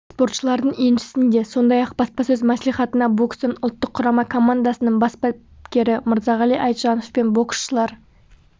спортшылардың еншісінде сондай-ақ баспасөз мәслихатына бокстан ұлттық құрама командасының бас бапкері мырзағали айтжанов пен боксшылар